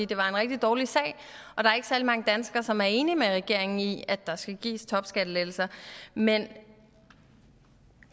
det var en rigtig dårlig sag og der er ikke særlig mange danskere som er enige med regeringen i at der skal gives topskattelettelser men